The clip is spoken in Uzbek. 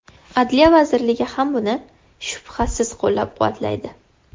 Adliya vazirligi ham buni, shubhasiz, qo‘llab-quvvatlaydi.